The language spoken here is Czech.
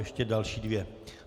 Ještě další dvě.